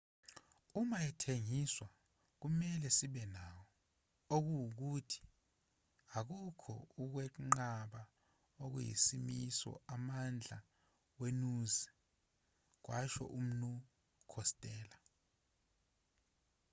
uma ethengiswa kumelwe sibe nawo okungukuthi akukho ukwenqaba okuyisimiso amandla wenuzi kwasho umnu khostello